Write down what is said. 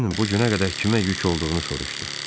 Pen bu günə qədər kimə yük olduğunu soruşdu.